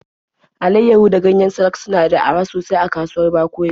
Alaiyahu da ganyen salak suna da araha sosai a kasuwar Bakori.